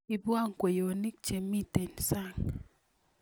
iibwo kweyoniik cho mitei sang